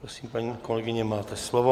Prosím, paní kolegyně, máte slovo.